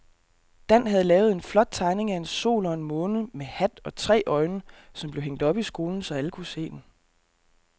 Dan havde lavet en flot tegning af en sol og en måne med hat og tre øjne, som blev hængt op i skolen, så alle kunne se den.